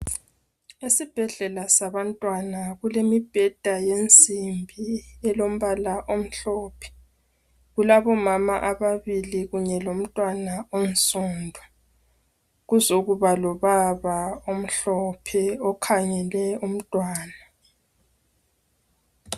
Esibhedlela sabantwana kulemibheda yensimbi elombala omhlophe ,kulabomama ababili kunye lomntwana onsundu, kuzokuba lobaba omhlophe okhangele umntwana.